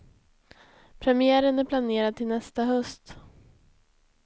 Premiären är planerad till nästa höst.